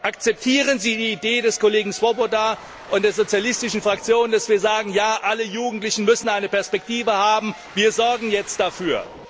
Akzeptieren Sie die Idee des Kollegen Swoboda und der Sozialistischen Fraktion, die lautet Ja, alle Jugendlichen müssen eine Perspektive haben, wir sorgen jetzt dafür?